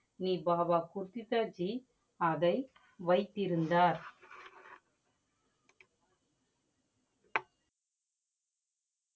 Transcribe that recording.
நி வாவா குர்திதாஜி அதை வைத்து இருந்தார்.